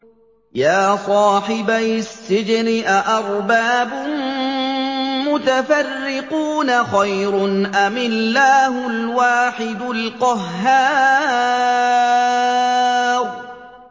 يَا صَاحِبَيِ السِّجْنِ أَأَرْبَابٌ مُّتَفَرِّقُونَ خَيْرٌ أَمِ اللَّهُ الْوَاحِدُ الْقَهَّارُ